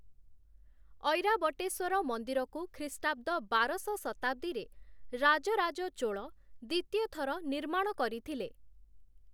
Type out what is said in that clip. ଐରାବଟେଶ୍ୱର ମନ୍ଦିରକୁ ଖ୍ରୀଷ୍ଟାବ୍ଦ ବାରଶ ଶତାବ୍ଦୀରେ ରାଜରାଜ ଚୋଳ ଦ୍ୱିତୀୟ ଥର ନିର୍ମାଣ କରିଥିଲେ ।